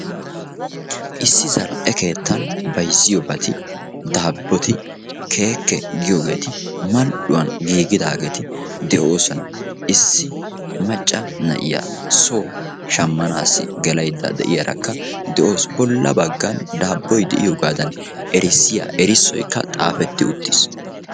issi zal'e keettan bayzziyobati daaboti keekke giyoobati mal'uwan giigidaageti de'oosona. issi macca na'iya soo shamanwu gelaydda de'iyaarakka de'awusu. bolla bagan daaboy de'iyoogadan bessiya erisoykka xaafetti uttiis.